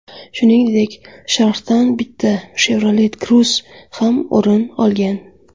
Shuningdek, sharhdan bitta Chevrolet Cruze ham o‘rin olgan.